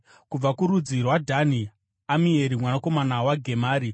kubva kurudzi rwaDhani, Amieri mwanakomana waGemari;